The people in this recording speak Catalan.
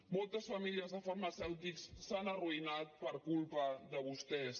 moltes famílies de farmacèutics s’han arruïnat per culpa de vostès